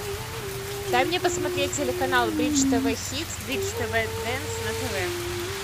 дай мне посмотреть телеканал бридж тв хитс бридж тв дэнс на тв